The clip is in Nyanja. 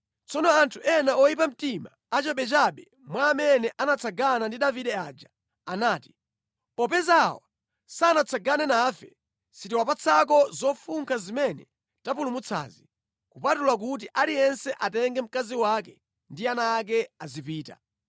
Tsono anthu ena oyipa mtima achabechabe mwa amene anatsagana ndi Davide aja anati, “Popeza awa sanapite nafe, sitiwapatsako zofunkha zimene tapulumutsazi, kupatula kuti aliyense atenge mkazi wake ndi ana ake azipita.”